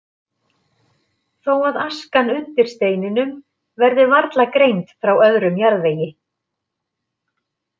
Þó að askan undir steininum verði varla greind frá öðrum jarðvegi.